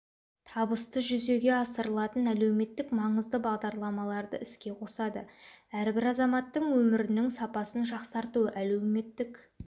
табысты жүзеге асырылатын әлеуметтік маңызды бағдарламаларды іске қосады әрбір азаматтың өмірінің сапасын жақсарту әлеуметтік